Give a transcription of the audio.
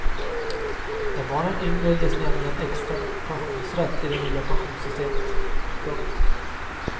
Är barnen yngre ges nämligen extra pensionsrätt i det nya pensionssystemet. punkt